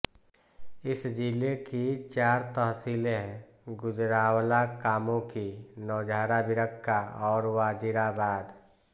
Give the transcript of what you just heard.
इस ज़िले की चार तहसीलें हैं गुजराँवाला कामोंकी नौशहराँ विरकाँ और वज़ीराबाद